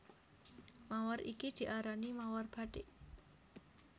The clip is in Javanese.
Mawar iki diarani mawar bathik